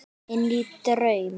Inní draum.